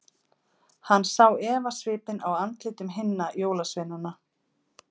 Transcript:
Hann sá efasvipinn á andlitum hinna jólasveinana.